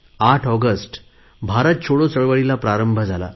8 August Bharat छोडो चळवळीला प्रारंभा झाला